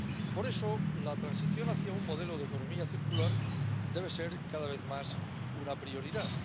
Por eso, la transición hacia un modelo de economía circular debe ser, cada vez más, una prioridad.